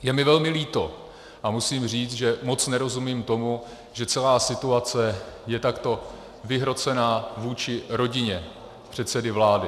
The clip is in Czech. Je mi velmi líto a musím říct, že moc nerozumím tomu, že celá situace je takto vyhrocená vůči rodině předsedy vlády.